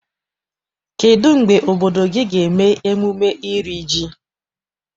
Kedụ mgbe obodo gị ga eme emume iri ji?